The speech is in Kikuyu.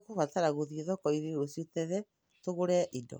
Nĩ tũkũbatara gũthiĩ thoko-inĩ rũciũ tene tũgũre indo.